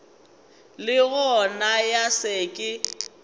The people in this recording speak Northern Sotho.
le gona ya se ke